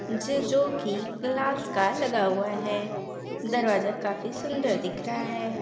ज जोकी ग्लास का लगा हुआ है। दरवाजा काफी सुंदर दिख रहा है।